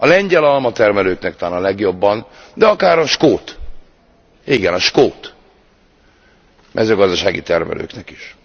A lengyel almatermelőknek talán a legjobban, de akár a skót, igen a skót mezőgazdasági termelőknek is.